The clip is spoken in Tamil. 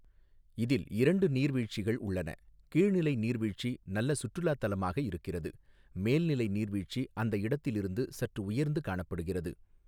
இதில் இரண்டு நீர்வீழ்ச்சிகள் உள்ளன, கீழ் நிலை நீர்வீழ்ச்சி நல்ல சுற்றுலாத் தலமாக இருக்கிறது, மேல் நிலை நீர்வீழ்ச்சிஅந்த இடத்தில் இருந்து சற்று உயர்ந்து காணப்படுகிறது.